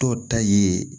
Dɔw ta ye